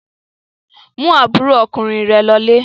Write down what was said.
Mú àbúrò ọkùnrin rẹ lọlé!